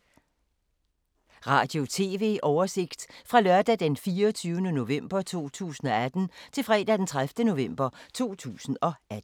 Radio/TV oversigt fra lørdag d. 24. november 2018 til fredag d. 30. november 2018